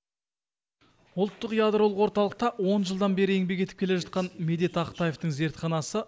ұлттық ядролық орталықта он жылдан бері еңбек етіп келе жатқан медет ақтаевтің зертханасы